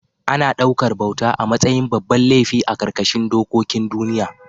Ana ɗaukar bauta a matsayin babban laifi a ƙarƙashin dokokin duniya